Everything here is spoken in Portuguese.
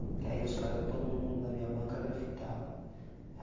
Porque aí os caras, todo mundo da minha banca, grafitava.